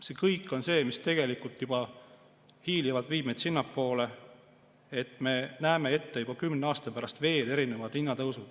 See kõik on see, mis tegelikult hiilivalt viib meid sinnapoole, et me näeme juba kümne aasta pärast ette veel erinevaid hinnatõuse.